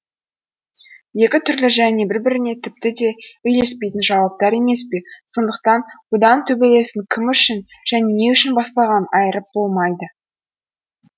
екі түрлі және бір біріне тіпті де үйлеспейтін жауаптар емес пе сондықтан бұдан төбелестің кім үшін және не үшін басталғанын айырып болмайды